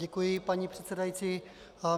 Děkuji, paní předsedající.